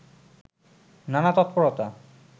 নানা তৎপরতা